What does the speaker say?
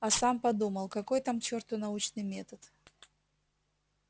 а сам подумал какой там к чёрту научный метод